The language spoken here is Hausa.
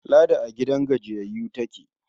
Ladi a gidan gajiyayyu take.